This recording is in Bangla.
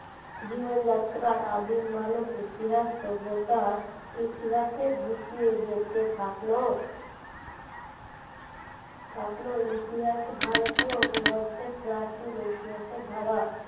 জীবনযাত্রায় আদিম মানুষ ইতিহাস সভ্যতার ইতিহাসের দিকে যেতে থাকল থাকল ইতিহাস ভারতীয় উপমহাদেশের প্রাচীন ইতিহাসের ধারা